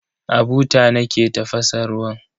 A buta nake tafasa ruwan.